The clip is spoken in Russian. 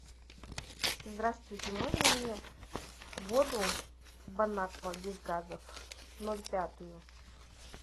здравствуйте можно мне воду бонаква без газа ноль пять